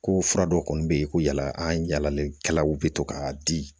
Ko fura dɔw kɔni bɛ yen ko yala an yalalen kɛlaw bɛ to k'a di